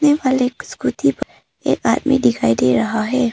एक स्कूटी पर एक आदमी दिखाई दे रहा है।